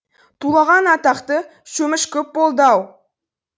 тулаған атақты шөміш көп болды ау